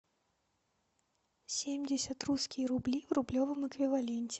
семьдесят русские рубли в рублевом эквиваленте